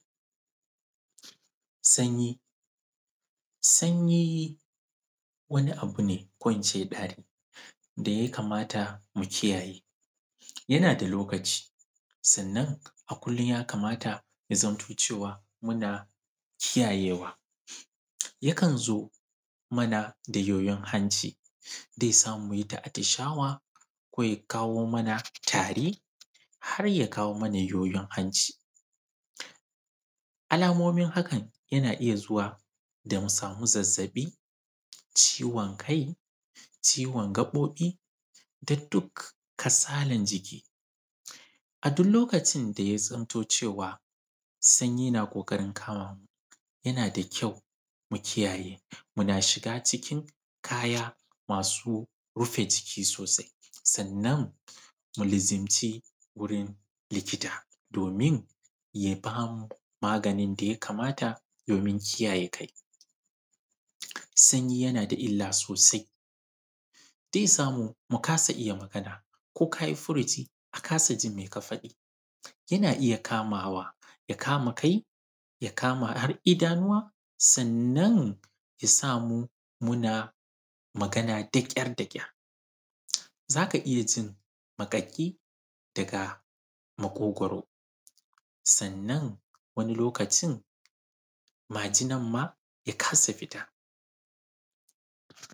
Sanyi, sanyi wani abu ne ko in ce ɗari, da yakamata mu kiyaye, yana da lokaci, sannan a kullum yakamata ka zamto cewa kana kiyayewa ya kan zo mana a yoyon hanci, mutum zai samu ya ita atishawa, ko ya kawo mana tari, har ya kawo man yoyon hanci. Alamomin hakan yana iya zuwa da musama: zazzaɓi, ciwon kai, ciwon gaɓoɓi, tuktuk, kasalan jiki. a dukkan lokacin da ya zamto cewa sanyi na ƙoƙarin kamamu, yana da ƙau mu kiyaye. muna shiga cikin kaya masu rufe jiki sosai, sannan mu je wajen likita ya ba manu maganin da ya kamata. Sanyi yana da illa sosai: ze samu mu kasa iya magana, ko ka yi furuci a kasa jinka, yana iya kama kai, ya kama idanuwa, sannan ya samu muna magana daƙyar-daƙyar za ka iya jin maƙaƙi daga maƙogaro, sannan wani lokaci majinan ma ya kasa fita.